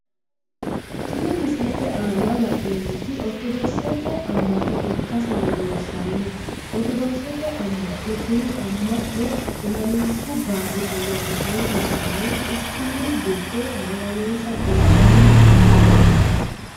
Tinni misilete aanna la'neemoti ortodokisete ama'no ikase leelishano ortodokisete ama'no tinni ama'no ilamishu Barri ayaanna ayirisanni quchumu gido maganonsa geebanni no.